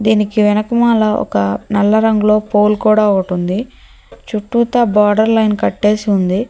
దీనికి వెనకమాల ఒక నల్ల రంగులో పూలు కూడా ఒకటుంది చెప్పుతా బోర్డర్ లైన్ కట్టేసి ఉంది.